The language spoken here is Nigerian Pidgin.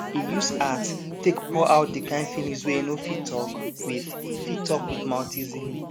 e use art take pour out the kind feelings wey e no fit talk with fit talk with mouth easily